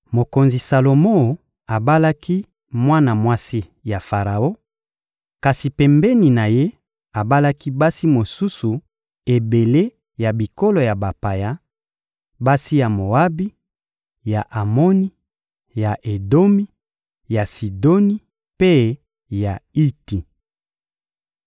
Mokonzi Salomo abalaki mwana mwasi ya Faraon; kasi pembeni na ye, abalaki basi mosusu ebele ya bikolo ya bapaya: basi ya Moabi, ya Amoni, ya Edomi, ya Sidoni mpe ya Iti.